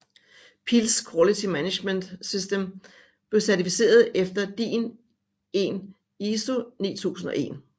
Pilz Quality Management System blev certificeret efter DIN EN ISO 9001